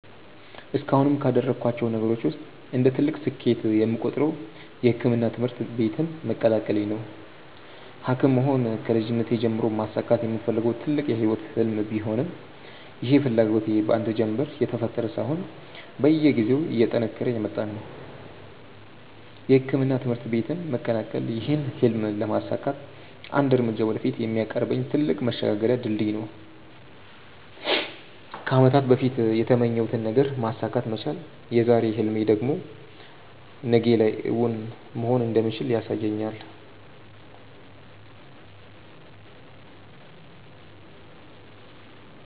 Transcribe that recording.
እስካሁንም ካደረኳቸው ነገሮች ውስጥ እንደ ትልቅ ስኬት የምቆጥረው የሕክምና ትምህርት ቤትን መቀላቀሌ ነው። ሀኪም መሆን ከልጅነቴ ጀምሮ ማሳካት የምፈልገው ትልቅ የህይወቴ ህልም ቢሆንም ይህ ፍላጎቴ በአንድ ጀንበር የተፈጠረ ሳይሆን በየጊዜው እየጠነከረ የመጣ ነው። የሕክምና ትምህርት ቤትን መቀላቀል ይህን ህልም ለማሳካት አንድ እርምጃ ወደፊት የሚያቀርበኝ ትልቅ መሸጋገሪያ ድልድይ ነው። ከአመታት በፊት የተመኘሁትን ነገር ማሳካት መቻል የዛሬ ህልሜ ደግሞ ነገ ላይ እውን መሆን እንደሚችል ያሳየኛል።